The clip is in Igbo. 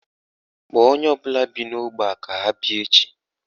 Kpọọ onye ọbụla bi n'ógbè a ka ha bịa echi